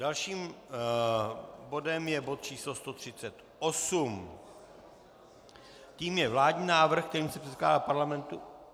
Dalším bodem je bod číslo 138, tím je vládní návrh, kterým se předkládá Parlamentu...